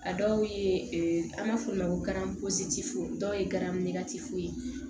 A dɔw ye an b'a f'o ma ko dɔw ye garametifoyi